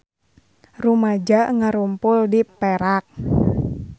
Rumaja ngarumpul di Perak